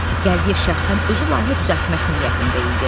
Gəldiyev şəxsən özü layihə düzəltmək niyyətində idi.